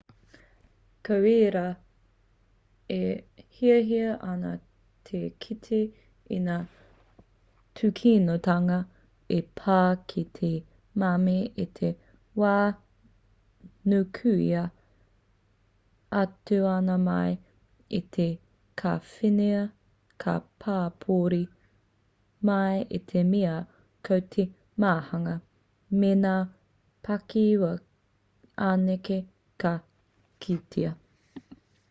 ko ērā e hiahia ana te kite i ngā tūkinotanga i pā ki te mami i te wā nukuhia atu ana mai i te kāwhena ka pāpouri mai i te mea ko te māhunga me ngā pakihiwi anake ka kitea